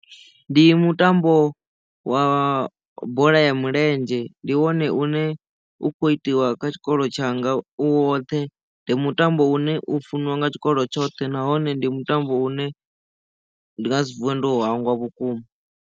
Ndi mutambo wa bola ya milenzhe ndi wone une u kho itiwa kha tshikolo tshanga u woṱhe ndi mutambo une u funiwa nga tshikolo tshoṱhe nahone ndi mutambo u ne ndi nga si vuwe ndo u hangwa vhukuma.